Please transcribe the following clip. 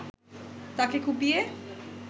তাকে কুপিয়ে